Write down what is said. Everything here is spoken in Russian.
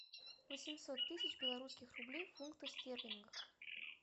восемьсот тысяч белорусских рублей в фунтах стерлингах